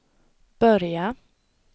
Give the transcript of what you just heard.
börja